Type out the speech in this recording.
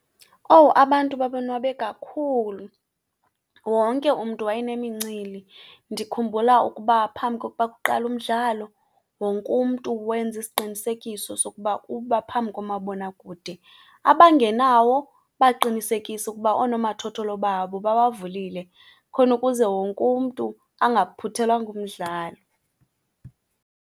Owu, abantu babonwabe kakhulu, wonke umntu wayenemincili. Ndikhumbula ukuba phambi kokuba kuqale umdlalo wonke umntu wenza isiqinisekiso sokuba uba phambi komabonakude, abangenawo baqinisekisa ukuba oonomathotholo babo babavulile khona ukuze wonke umntu angaphuthelwa ngumdlalo.